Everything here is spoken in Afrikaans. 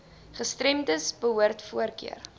gestremdes behoort voorkeur